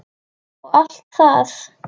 og allt það.